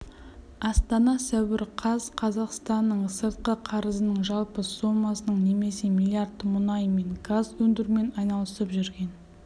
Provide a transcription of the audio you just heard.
астана сәуір қаз қазақстанның сыртқы қарызының жалпы сомасының немесе млрд мұнай мен газ өндірумен айналысып жүрген